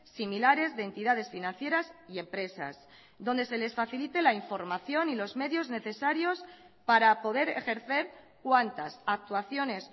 similares de entidades financieras y empresas donde se les facilite la información y los medios necesarios para poder ejercer cuantas actuaciones